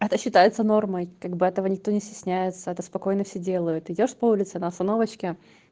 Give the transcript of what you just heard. это считается нормой как бы этого никто не стесняется это спокойно все делают идёшь по улице на остановочке